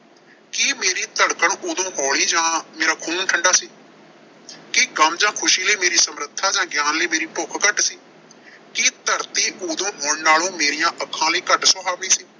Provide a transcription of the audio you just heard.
ਕੀ ਮੇਰੀ ਧੜਕਣ ਉਦੋਂ ਹੌਲੀ ਜਾਂ ਮੇਰਾ ਖੂਨ ਠੰਡਾ ਸੀ। ਕੀ ਗਮ ਜਾਂ ਖੁਸ਼ੀ ਲਈ ਮੇਰੀ ਸਮਰੱਥਾ ਜਾਂ ਗਿਆਨ ਲਈ ਮੇਰੀ ਭੁੱਖ ਘੱਟ ਸੀ। ਕੀ ਧਰਤੀ ਉਦੋਂ ਹੁਣ ਨਾਲੋਂ ਮੇਰੀਆਂ ਅੱਖਾਂ ਲਈ ਘੱਟ ਸੁਹਾਵੀ ਸੀ।